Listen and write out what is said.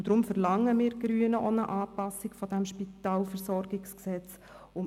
Deshalb verlangen wir Grünen auch eine Anpassung des SpVG.